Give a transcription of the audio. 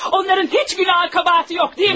Onların heç günahı qəbahəti yox, deyilmi?